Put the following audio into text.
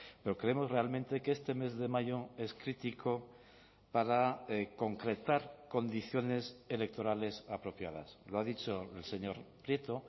pero creemos realmente que este mes de mayo es crítico para concretar condiciones electorales apropiadas lo ha dicho el señor prieto